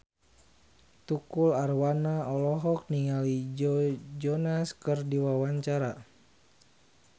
Tukul Arwana olohok ningali Joe Jonas keur diwawancara